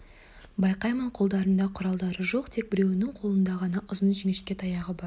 байқаймын қолдарында құралдары жоқ тек біреуінің қолында ғана ұзын жіңішке таяғы бар